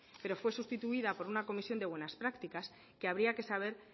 pero fue sustituida por una comisión de buenas prácticas que habría que saber